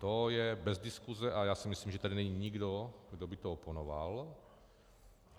To je bez diskuse a já si myslím, že tady není nikdo, kdo by to oponoval.